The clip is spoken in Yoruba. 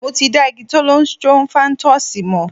Mo ti dá igi Thollon Strophanthus mọ̀.